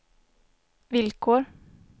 villkor